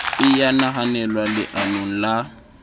e ya nahanelwa leanong la